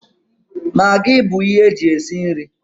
Magị bụ ihe eji esi nri